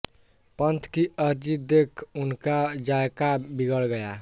पन्त की अर्जी देख उनका जायका बिगड़ गया